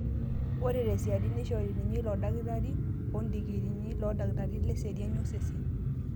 Ore tsesiadi neishori ninye ilo dakitari odikirrii loodakitarini leseeriani osesen